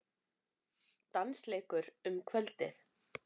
Dansleikur um kvöldið.